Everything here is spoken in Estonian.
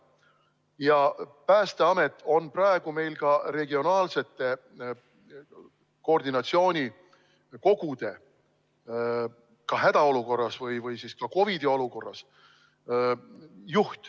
Ja Päästeamet on ka praegu regionaalsete koordinatsioonikogude juht, seda siis ka hädaolukorras või siis COVID-i olukorras.